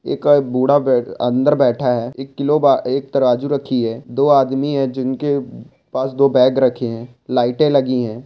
एका बूढ़ा अंदर बैठा हैं एक किलो बा एक तराजू रखी हैं दो आदमी हैं जिनके पास दो बैग रखे हैं लाइटे लगी है।